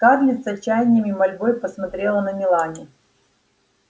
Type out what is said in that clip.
скарлетт с отчаянием и мольбой посмотрела на мелани